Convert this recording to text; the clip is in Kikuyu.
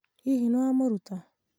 hihi nĩwamĩruta?